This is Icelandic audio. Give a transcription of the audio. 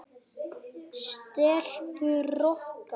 Stelpur Rokka!